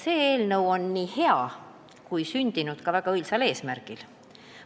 See eelnõu on hea ja on sündinud ka väga õilsal eesmärgil.